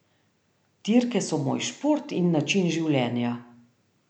Dirke so moj šport in način življenja.